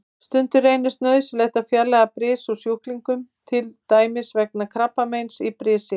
Stundum reynist nauðsynlegt að fjarlægja bris úr sjúklingum, til dæmis vegna krabbameins í brisi.